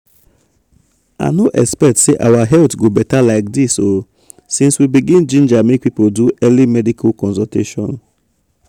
i no expect say our health go beta like this o since we begin ginger make people do early medical consultation.